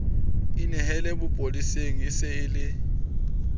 inehele sepoleseng e se e